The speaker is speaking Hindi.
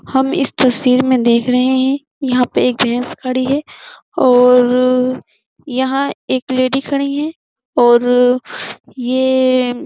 हम इस तस्वीर मै देख रहे हैं। यहाँ पर एक भैस खड़ी है और यहाँ एक लेडी खड़ी है और ये --